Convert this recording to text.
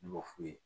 Ne b'o f'u ye